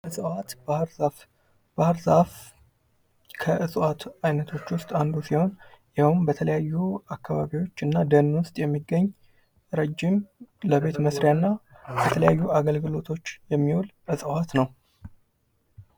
እፅዋት፤ ባህርዛፍ፦ ባህርዛፍ ከእፅዋት አይነቶች ውስጥ አንዱ ሲሆን ይኸውም በተለያዩ አካባቢወችና ደን ውስጥ የሚገኝ ረዥም ለቤት መስሪያና ለተለያዩ አገልግሎቶች የሚውል እፅዋት ነው።